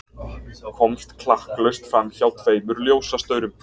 Komst klakklaust framhjá tveimur ljósastaurum.